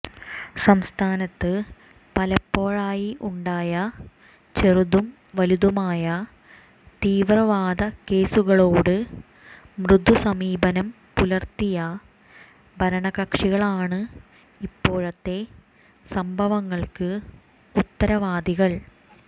സംസ്ഥാനത്ത് പലപ്പോഴായി ഉണ്ടായ ചെറുതും വലുതുമായ തീവ്രവാദ കേസുകളോട് മൃദു സമീപനം പുലർത്തിയ ഭരണ കക്ഷികളാണ് ഇപ്പോഴത്തെ സംഭവങ്ങൾക്ക് ഉത്തരവാദികൾ